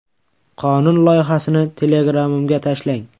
Qonun loyihasini Telegram’imga tashlang.